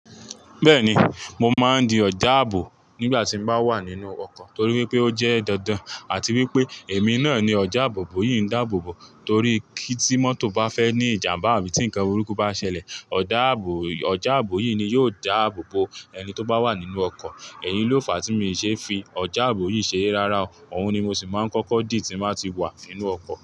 Bẹ́ẹ̀ni, mo máa ń di ọ̀já ààbò nígbà tí n bá wà nínú ọkọ̀ torí pé ó jẹ́ dandan àti wípé èmi náà ni ọ̀já àbò bò yìí ń dáàbò bò torí kí tí mọ́tò bá fẹ́ ní ìjàmbá àbí tí ǹkan burúkú bá ṣẹlẹ̀, ọdáàbò yi ọ̀já àbò yìí ni yóò dáàbò bo ẹni tó bá wà nínú ọkọ̀. Èyí ló fàá tí mi ṣe n fi ọ̀já àbò yìí ṣeré. Rárá o, òun ni mo sì máa ń kọ́kọ́ dì tí mo bá ti wà nínú ọkọ̀.